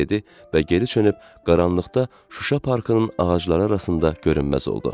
dedi və geri çönüb qaranlıqda Şuşa parkının ağacları arasında görünməz oldu.